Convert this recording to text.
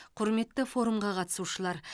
құрметті форумға қатысушылар